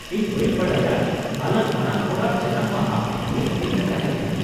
ᱤᱧ ᱵᱟᱹᱧ ᱵᱟᱰᱟᱭᱟ ᱟᱞᱟᱝ ᱵᱟᱱᱟᱼᱦᱚᱲᱟᱜ ᱡᱟᱱᱟᱢ ᱢᱟᱦᱟ ᱢᱤᱫ ᱫᱤᱱᱨᱮ ᱛᱟᱦᱮᱸ ᱠᱟᱱᱟ !